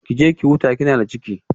Ki je ki huta kina da ciki